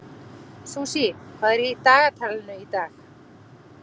Susie, hvað er í dagatalinu í dag?